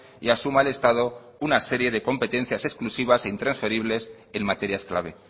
y asuma el estado una serie de competencias exclusivas e intransferibles en materias clave